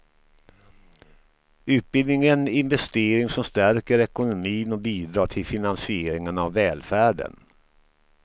Utbildning är en investering som stärker ekonomin och bidrar till finansieringen av välfärden.